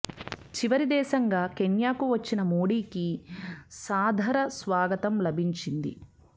చివరి దేశంగా కెన్యాకు వచ్చిన మోడీకి సా దర స్వాగతం లభించింది